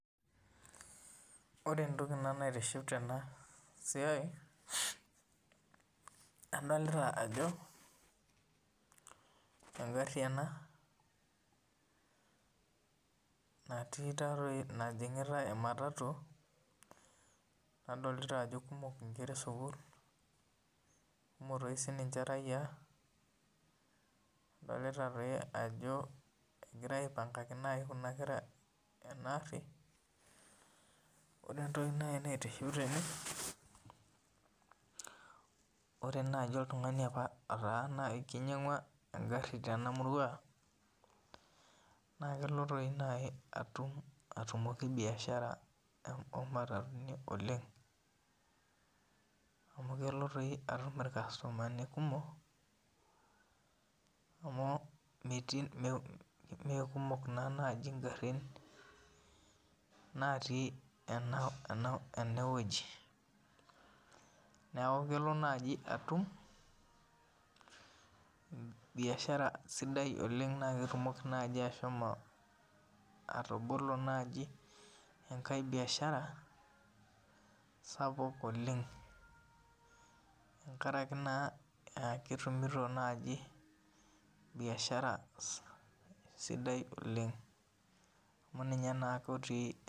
Ore entoki naitiship tenasia adolta ajobengari ena natii najingitae nadolta ajo kumok nkera esukul kumok sinche raia nadolta ajo egira aipangaki naibkuna kera enaari ore entoki naitiship tene ore nai na kelo atumoki biasharabomatatuni oleng amu kelo atum irkastomani kumok amu mekumok nai ingarin natii enewueji neaky kelo atum biasharabsidai na ketumoki ashomo atobolo enkae biashara tene biashara sidai amu ninye ake otii